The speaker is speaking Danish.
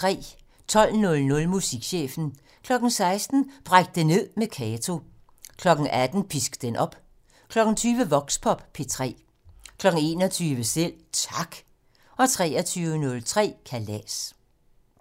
12:00: Musikchefen 16:00: Bræk det ned med Kato 18:00: Pisk den op 20:00: Voxpop P3 21:00: Selv Tak 23:03: Kalas